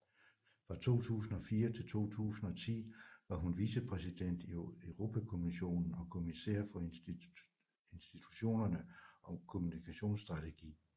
Fra 2004 til 2010 var hun vicepræsident i Europakommissionen og kommissær for institutionerne og kommunikationsstrategi